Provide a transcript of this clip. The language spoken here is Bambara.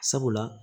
Sabula